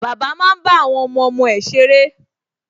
Bàbá máa ń bá àwọn ọmọọmọ ẹ̀ ṣeré